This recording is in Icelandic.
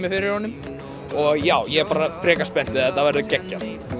og já ég er bara frekar spenntur þetta verður geggjað